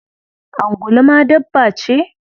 Angulu ma dabba ce?